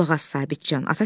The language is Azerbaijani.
Qulaq as Sabitçan.